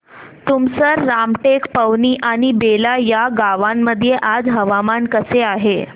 तुमसर रामटेक पवनी आणि बेला या गावांमध्ये आज हवामान कसे आहे